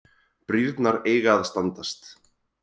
Brýrnar eiga að standast